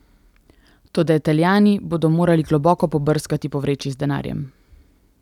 Toda Italijani bodo morali globoko pobrskati po vreči z denarjem.